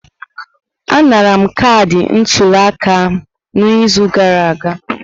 Anara m kaadị ntuli aka m n'izu gara aga.